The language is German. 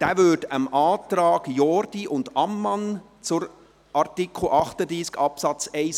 Dieser entspricht dem Antrag Jordi und Ammann zu Artikel 38 Absatz 1